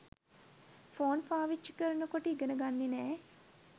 phone පාවිච්චි කරන කොට ඉගෙන ගන්නේ නෑ